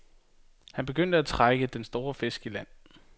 Han begyndte at trække den store fisk i land.